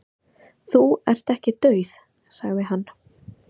"""Þú ert ekki dauð, sagði hann."""